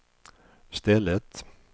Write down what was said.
stället